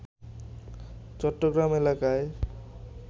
চট্টগ্রাম এলাকায়